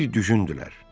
Bir düşünndülər.